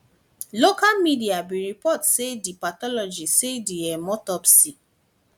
local media bin report say di pathologist say di um autopsy